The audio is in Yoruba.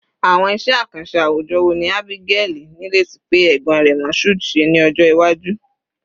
Awọn iṣẹ akanṣe awujọ wo ni Abigaili nireti pe egbon rẹ Mashood, ṣe ni ọjọ iwaju?